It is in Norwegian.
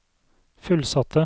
fullsatte